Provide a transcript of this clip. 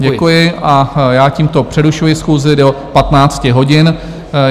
Děkuji a já tímto přerušuji schůzi do 15 hodin.